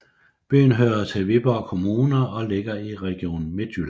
Byen hører til Viborg Kommune og ligger i Region Midtjylland